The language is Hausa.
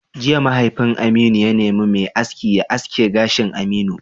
Jiya, mahaifin Aminu ya nemi mai aski ya aske gashin Aminu!